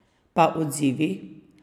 Pa odzivi?